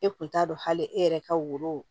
E kun t'a dɔn hali e yɛrɛ ka woro